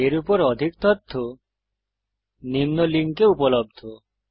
এর উপর অধিক তথ্য নিম্ন লিঙ্কে উপলব্ধ